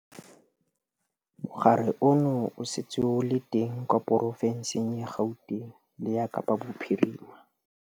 Mogare ono o setse o le teng kwa porofenseng ya Gauteng le ya Kapa Bophirima.